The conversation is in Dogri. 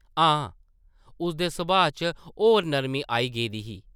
हां, उसदे सभाऽ च होर नर्मी आई गेदी ही ।